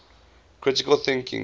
critical thinking